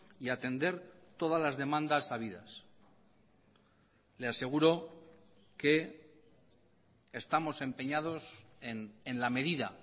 y atender todas las demandas habidas le aseguro que estamos empeñados en la medida